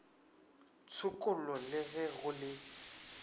tshokollo le ge go le